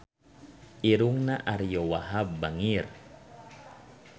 Irungna Ariyo Wahab bangir